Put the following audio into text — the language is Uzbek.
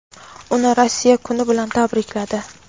uni Rossiya kuni bilan tabrikladi.